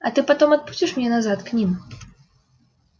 а ты потом отпустишь меня назад к ним